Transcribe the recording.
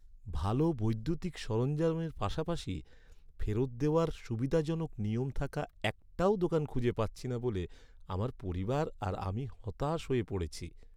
ভালো বৈদ্যুতিক সরঞ্জামের পাশাপাশি ফেরত দেওয়ার সুবিধাজনক নিয়ম থাকা একটাও দোকান খুঁজে পাচ্ছি না বলে আমার পরিবার আর আমি হতাশ হয়ে পড়েছি।